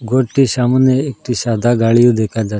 ঘরটির সামনে একটি সাদা গাড়িও দেখা যা--